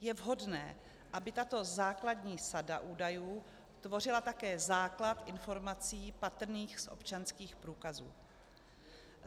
Je vhodné, aby tato základní sada údajů tvořila také základ informací patrných z občanských průkazů.